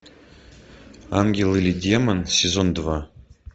ангел или демон сезон два